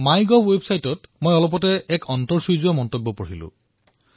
মোৰ মৰমৰ দেশবাসীসকল কিছুদিন পূৰ্বে মাই গভত মই এক সুন্দৰ টিপ্পনী পঢ়িবলৈ পালো